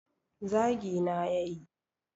zagi na ya yi